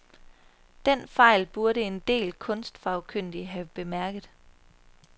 Den fejl burde en del kunstfagkyndige have bemærket.